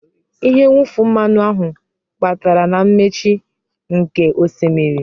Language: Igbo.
Ihe mwụfu mmanụ ahụ kpatara na mmechi nkè osimiri.